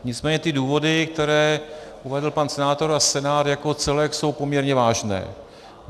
Nicméně ty důvody, které uvedl pan senátor a Senát jako celek, jsou poměrně vážné.